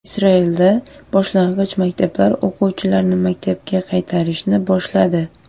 Isroilda boshlang‘ich maktablar o‘quvchilarni maktabga qaytarishni boshladi.